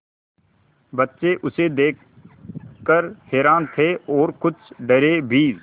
बच्चे उसे देख कर हैरान थे और कुछ डरे भी